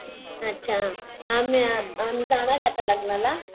अच्छा आम्ही जाणार आहे आता लग्नाला